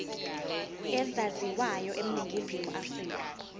ezaziwayo eningizimu afrika